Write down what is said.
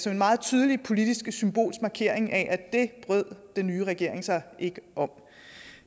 en meget tydelig politisk symbolsk markering af at det brød den nye regering sig ikke om